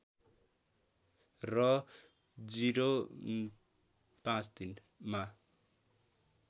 र ०५३ मा